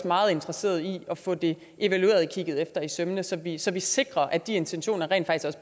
meget interesserede i at få det evalueret og kigget efter i sømmene så vi så vi sikrer at de intentioner rent